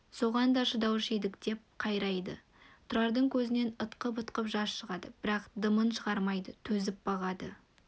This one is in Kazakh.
соған да шыдаушы едік деп қайрайды тұрардың көзінен ытқып-ытқып жас шығады бірақ дымын шығармайды төзіп бағады